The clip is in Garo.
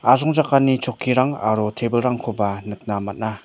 asongchakani chokkirang aro tebilrangkoba nikna man·a.